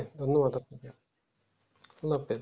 এমনি হটাৎ করে